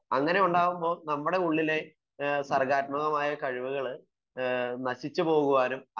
അങ്ങനെ ആവുമ്പോൾ നമ്മുടെ ഉള്ളിലെ സർഗ്ഗാത്മകമായ കഴിവുകൾ നശിച്ചു പോകാനും